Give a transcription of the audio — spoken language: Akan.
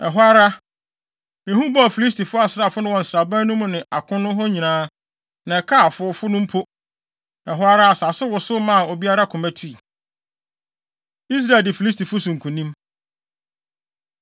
Ɛhɔ ara, ehu bɔɔ Filistifo asraafo no wɔ nsraban no mu ne akono hɔ nyinaa, na ɛkaa afowfo no mpo. Ɛhɔ ara asase wosow maa obiara koma tui. Israel Di Filistifo So Nkonim